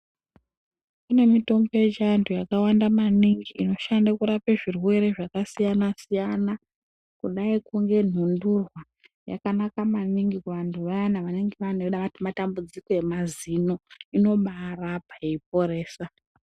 Kune mitombo yechianthu yakawanda maningi inoshande kurape zvirwere zvakasiyana siyana kudai kungenhundurwa yakanaka maningi kuanthu vayani vanenge vane matambudziko emazino inobaarapa yeiporesa.